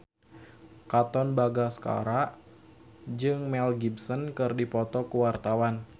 Katon Bagaskara jeung Mel Gibson keur dipoto ku wartawan